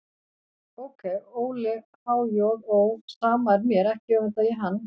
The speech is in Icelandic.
Ókei, Óli á há-joð-ó, sama er mér, ekki öfunda ég hann.